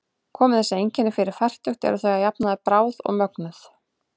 Komi þessi einkenni fyrir fertugt eru þau að jafnaði bráð og mögnuð.